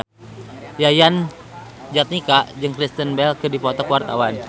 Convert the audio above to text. Yayan Jatnika jeung Kristen Bell keur dipoto ku wartawan